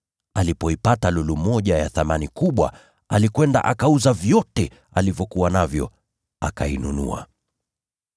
Alipoipata lulu moja ya thamani kubwa, alikwenda akauza vyote alivyokuwa navyo akainunua.”